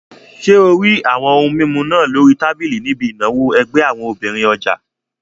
Ṣé o rí àwọn ohun mímu náà lórí tábìlì níbi ìnáwó ẹgbẹ́ àwọn obìnrin ọjà?